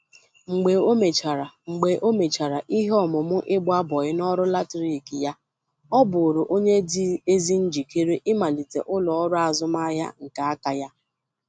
Mgbe o mèchàrà Mgbe o mèchàrà ihe ọmụmụ ịgba bọị n'ọrụ latrik ya,ọ bụụrụ onye dị ezi njikere ịmalite ụlo-ọru azụmahịa nke aka ya.